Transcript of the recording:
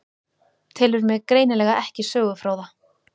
Telur mig greinilega ekki sögufróða.